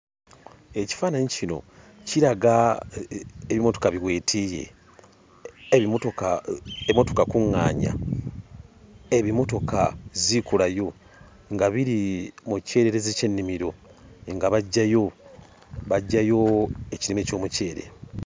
Ekifaananyi kino kiraga ebimotoka biweetiiye, ebimotoka ebimotoka kuŋŋaanya, ebimotoka ziikulayo nga biri mu kyererezi ky'ennimiro nga baggyayo baggyayo ekirime ky'omuceere.